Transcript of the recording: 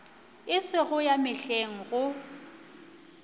e sego ya mehleng go